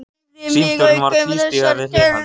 Símstjórinn var að tvístíga við hlið hans.